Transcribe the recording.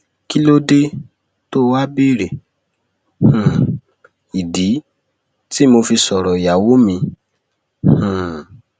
kí ló dé tóò wáá béèrè um ìdí tí mo fi sọrọ ìyàwó mi um